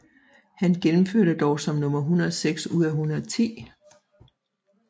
Han gennemførte dog som nummer 106 ud af 110